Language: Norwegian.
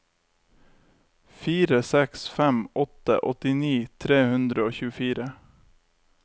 fire seks fem åtte åttini tre hundre og tjuefire